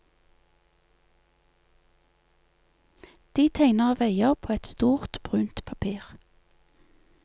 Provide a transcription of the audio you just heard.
De tegner veier på et stort brunt papir.